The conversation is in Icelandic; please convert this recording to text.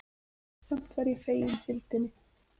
Samt var ég fegin fylgdinni.